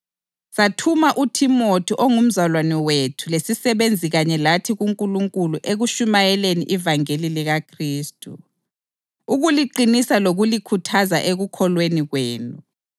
Sathuma uThimothi ongumzalwane wethu lesisebenzi kanye lathi kuNkulunkulu ekutshumayeleni ivangeli likaKhristu, ukuliqinisa lokulikhuthaza ekukholweni kwenu